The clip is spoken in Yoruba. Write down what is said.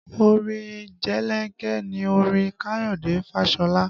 Orin jelenke ni orin Kayode Fashola